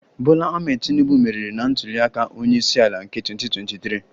Bola Ahmed Tinubu meriri na ntuli aka onye isi ala nke 2023